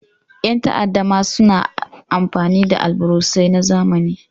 Ƴan ta'adda ma sna amfani da alburusai na zamani.